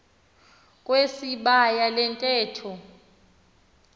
wesibaya le ntetho